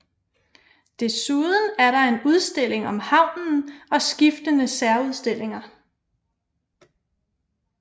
Desuden er der en udstilling om havnen og skiftende særudstillinger